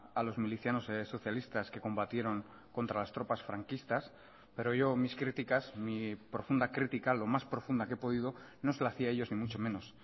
a los milicianos socialistas que combatieron contra las tropas franquistas pero yo mis críticas mi profunda crítica lo más profunda que he podido no se lo hacía a ellos ni mucho menos